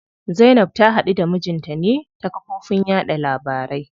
Zainab ta haɗu da mijinta ne ta kafofin yaɗa labarai.